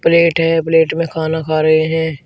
Plate है plate में खाना खा रहे हैं।